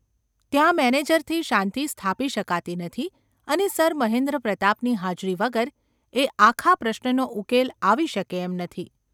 ત્યાં મેનેજરથી શાંતિ સ્થાપી શકાતી નથી અને સર મહેન્દ્રપ્રતાપની હાજરી વગર એ આખા પ્રશ્નનો ઉકેલ આવી શકે એમ નથી.